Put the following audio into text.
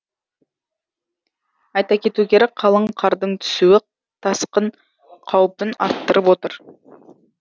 айта кету керек қалың қардың түсуі тасқын қаупін арттырып отыр